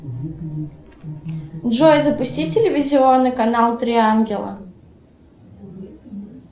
джой запусти телевизионный канал три ангела